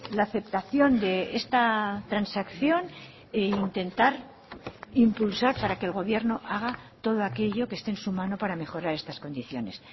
la aceptación de esta transacción e intentar impulsar para que el gobierno haga todo aquello que esté en su mano para mejorar estas condiciones